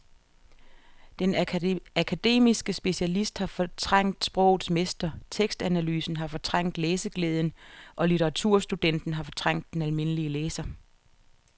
Den akademiske specialist har fortrængt sprogets mester, tekstanalysen har fortrængt læseglæden og litteraturstudenten har fortrængt den almindelige læser.